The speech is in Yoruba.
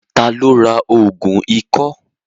Ta ló ra ògùn ikọ́?